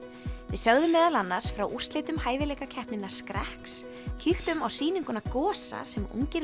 við sögðum meðal annars frá úrslitum hæfileikakeppninnar skrekks kíktum á sýninguna Gosa sem ungir